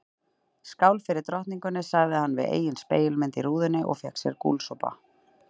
Skál fyrir drottningunni sagði hann við eigin spegilmynd í rúðunni og fékk sér gúlsopa.